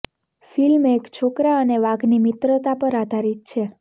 film એક છોકરા અને વાઘની મિત્રતા પર આધારિત છે